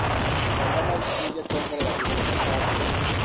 mbembe no citeithie kuogerera kĩgĩna gĩa bũrũri